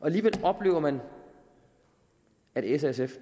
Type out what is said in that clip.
alligevel oplever man at s og sf